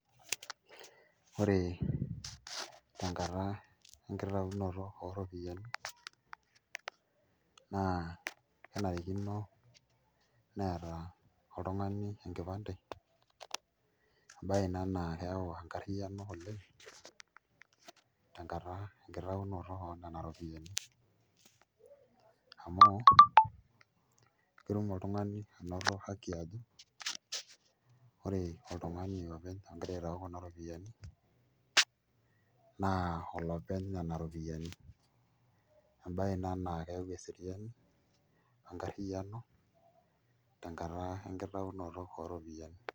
Ore tenkata enkitaunoto ooropiyiani naa kenarikino Neeta oltung'ani enkipande embaye ina naa keyau enkarriyiano oleng' tenkitaunoto enena ropiyiani amu ketum oltung'ani aanoto haki ajo ore oltung'ani openy ogira aitau Kuna ropiyiani naa olopeny Nena ropiyiani, embaye ina naa keyau eseriani o enkarriyiano tenkata enkitaunoto enena ropiyiani.